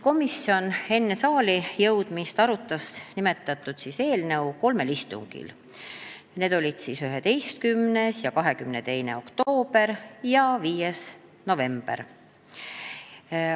Komisjon arutas nimetatud eelnõu kolmel istungil: 11. ja 22. oktoobril ja 5. novembril.